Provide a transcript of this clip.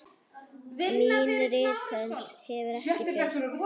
Mín rithönd hefur ekki breyst.